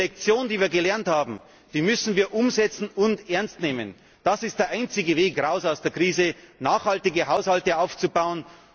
Wir müssen die Lektion, die wir gelernt haben, umsetzen und ernst nehmen. Das ist der einzige Weg aus der Krise nachhaltige Haushalte aufzubauen.